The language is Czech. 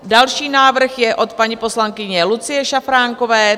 Další návrh je od paní poslankyně Lucie Šafránkové.